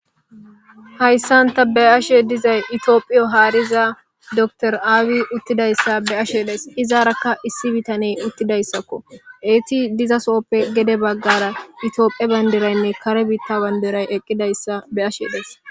hayssanta be ashe dizay itioophiyo haariza dotor aawi uttidayssa be ashe des izaarakka issi bitaney uttidayssakko eyti diza sohoppe gede baggara itiophe bandiraynne kare biitta banderay eqqidayssa be ashe des